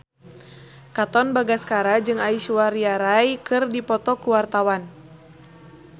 Katon Bagaskara jeung Aishwarya Rai keur dipoto ku wartawan